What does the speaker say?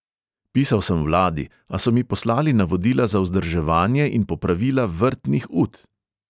Pisal sem vladi, a so mi poslali navodila za vzdrževanje in popravila vrtnih ut.